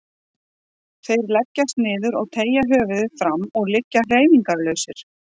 Þeir leggjast niður og teygja höfuðið fram og liggja hreyfingarlausir.